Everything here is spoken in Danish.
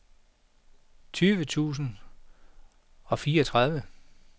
tyve tusind og fireogtredive